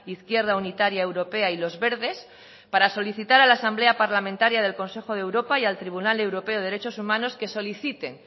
izquierda unitaria europea y los verdes para solicitar a la asamblea parlamentaria del consejo de europa y al tribunal europeo de derechos humanos que soliciten